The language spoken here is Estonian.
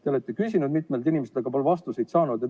Te olete küsinud mitmelt inimeselt, aga pole vastust saanud.